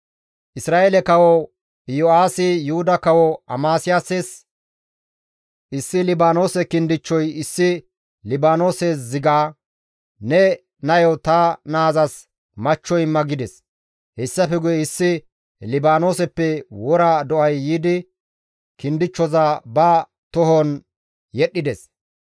Isra7eele kawo Yo7aasi Yuhuda kawo Amasiyaases, «Issi Libaanoose kindichchoy issi Libaanoose ziga, ‹Ne nayo ta naazas machcho imma› gides. Hessafe guye issi Libaanooseppe wora do7ay yiidi kindichchoza ba tohon yedhdhides.